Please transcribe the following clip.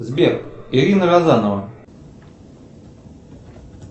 сбер ирина розанова